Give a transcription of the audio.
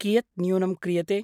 कियत् न्यूनं क्रियते?